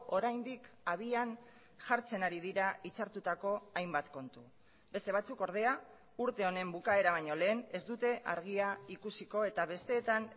oraindik abian jartzen ari dira itzartutako hainbat kontu beste batzuk ordea urte honen bukaera baino lehen ez dute argia ikusiko eta besteetan